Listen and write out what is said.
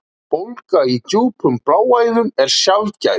Bólga í djúpum bláæðum er sjaldgæf.